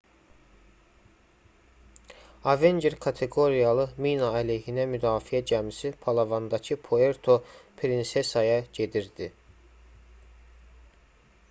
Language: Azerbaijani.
avenger kateqoriyalı mina-əleyhinə müdafiə gəmisi palavandakı puerto prinsesaya gedirdi